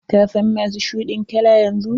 Ka sa mas shuɗin kala yanzu!